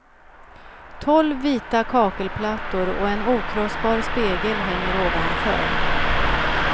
Tolv vita kakelplattor och en okrossbar spegel hänger ovanför.